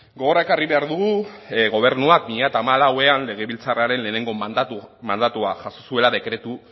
gogora ekarrik behar dugu gobernua bi mila hamalauan legebiltzarraren lehenengo mandatua jaso zuela dekretu